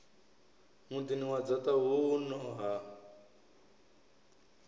muḓini wa dzaṱa huno ha